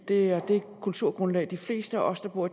det er det kulturgrundlag som de fleste af os der bor